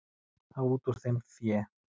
Hafa út úr þeim fé.